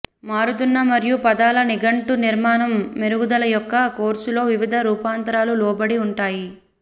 మారుతున్న మరియు పదాల నిఘంటు నిర్మాణం మెరుగుదల యొక్క కోర్సు లో వివిధ రూపాంతరాలు లోబడి ఉంటాయి